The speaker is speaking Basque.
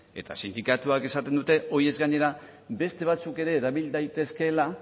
eta sindikatuak esaten dute horiez gainera beste batzuk ere erabil daitezkeela